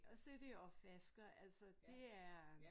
Og sætte i opvasker altså det er